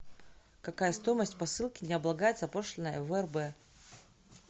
какая стоимость посылки не облагается пошлиной в рб